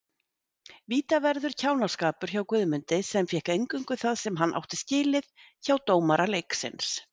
Vítaverður kjánaskapur hjá Guðmundi sem fékk eingöngu það sem hann átti skilið hjá dómara leiksins.